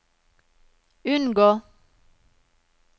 unngå